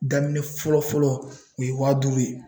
Daminɛ fɔlɔ fɔlɔ , o ye waa duuru ye.